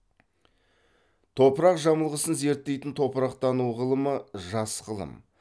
топырақ жамылғысын зерттейтін топырақтану ғылымы жас ғылым